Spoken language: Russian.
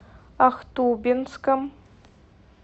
ахтубинском